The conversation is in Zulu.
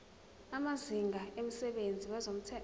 amazinga emsebenzini wezomnotho